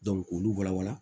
k'olu walawala